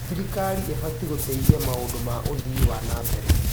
Thirikari ĩbatiĩ gũteithia maũndũ ma ũthii wa na mbere.